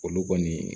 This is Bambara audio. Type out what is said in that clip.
Olu kɔni